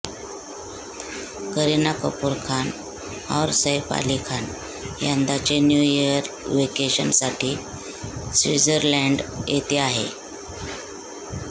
करीना कपूर खान और सैफ अली खान यंदाचे new year वेकेशनसाठी स्विजरलैंड येथे आहे